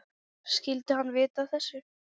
Skyldi hann vita af þessu?